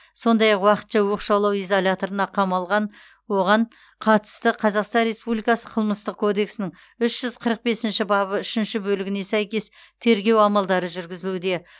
сондай ақ уақытша оқшаулау изоляторына қамалған оған қатысты қазақстан республикасы қылмыстық кодексінің үш жүз қырық бесінші бабы үшінші бөлігіне сәйкес тергеу амалдары жүргізілуде